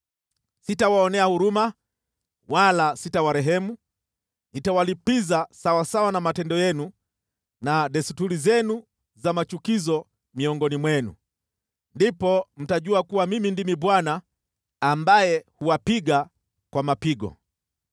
Sitawaonea huruma wala sitawarehemu; nitawalipiza sawasawa na matendo yenu na desturi zenu za machukizo miongoni mwenu. Ndipo mtajua kuwa Mimi ndimi Bwana ambaye huwapiga kwa mapigo.